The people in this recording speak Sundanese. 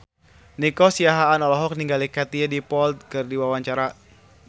Nico Siahaan olohok ningali Katie Dippold keur diwawancara